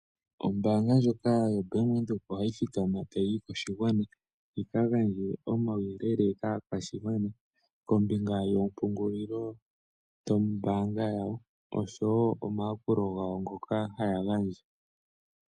Ombaanga ndjoka yoBank Windhoek ohayi thikama tayi yi koshigwana, yi kagandje omauyelele kaakwashigwana kombinga yompungulilo dhoombaanga yawo oshowo omayakulo gawo ngoka haya gandja.